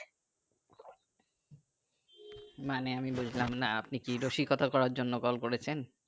মানে আমি বুজলাম না আপনি কি রসিকতার করার জন্য call করেছেন